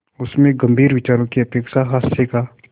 उसमें गंभीर विचारों की अपेक्षा हास्य का